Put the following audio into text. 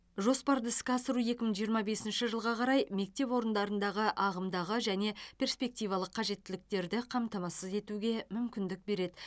жоспарды іске асыру екі мың жиырма бесінші жылға қарай мектеп орындарындағы ағымдағы және перспективалық қажеттіліктерді қамтамасыз етуге мүмкіндік береді